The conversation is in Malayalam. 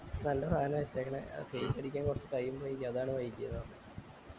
നല്ല സാന ഇട്ടേക്കിണെ അത് paint അടിക്കാൻ കൊറച്ച് time ആയി അതാണ് വൈകിയത്